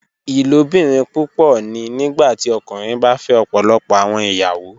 Ilobirin pupọ ni nigbati ọkunrin ba fẹ ọpọlọpọ awọn iyawo